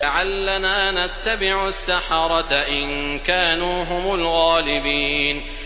لَعَلَّنَا نَتَّبِعُ السَّحَرَةَ إِن كَانُوا هُمُ الْغَالِبِينَ